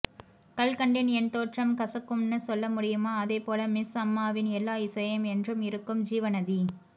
கல்கண்டின் என்தோற்றம் கசக்கும்னு சொல்லமுடியுமா அதே போல மிஸ் அம்மாவின் எல்லா இசையும் என்றும் இருக்கும் ஜீவநதி